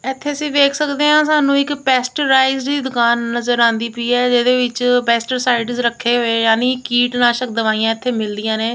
ਇਥੇ ਅਸੀਂ ਵੇਖ ਸਕਦੇ ਆ ਸਾਨੂੰ ਇੱਕ ਪੈਸਟਰਾਈਜ਼ ਦੀ ਦੁਕਾਨ ਨਜ਼ਰ ਆਉਂਦੀ ਪਈ ਹੈ ਇਹਦੇ ਵਿੱਚ ਪੈਸਟਰਾਈਜ਼ ਰੱਖੇ ਹੋਏ ਯਾਨੀ ਕੀਟ ਨਾਸ਼ਕ ਦਵਾਈਆਂ ਇਥੇ ਮਿਲਦੀਆਂ ਨੇ।